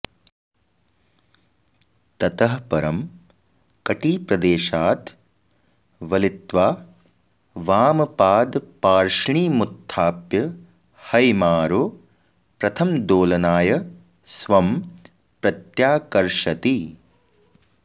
ततः परं कटिप्रदेशाद् वलित्वा वामपादपार्ष्णिमुत्थाप्य हैमारो प्रथमदोलनाय स्वं प्रत्याकर्षति